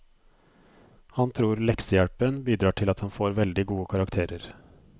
Han tror leksehjelpen bidrar til at han får veldig gode karakterer.